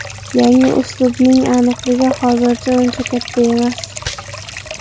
Yangi uslubning aniqligi hozircha uncha katta emas.